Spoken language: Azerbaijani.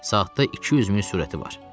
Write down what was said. Saatda 200 mil sürəti var.